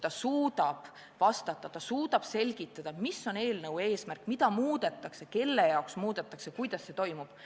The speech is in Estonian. Ta suutis vastata, ta suutis selgitada, mis on eelnõu eesmärk, mida muudetakse, kelle jaoks muudetakse ja kuidas see kõik toimub.